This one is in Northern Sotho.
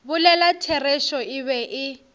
bolela therešo e be e